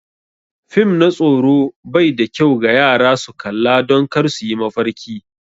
Fim na tsoro bai da kyau ga yara su kalla don kar su yi mafarki akai.